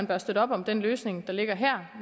bør støtte op om den løsning der ligger her